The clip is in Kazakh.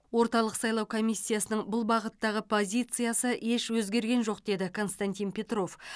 орталық сайлау комиссиясының бұл бағыттағы позициясы еш өзгерген жоқ деді константин петров